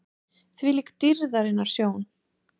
ÞVÍLÍK DÝRÐARINNAR SJÓN!